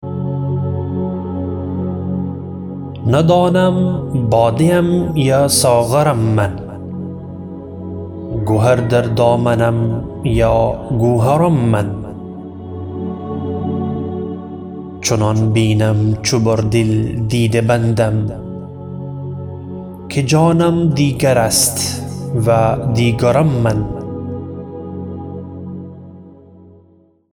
ندانم باده ام یا ساغرم من گهر در دامنم یا گوهرم من چنان بینم چو بر دل دیده بندم که جانم دیگر است و دیگرم من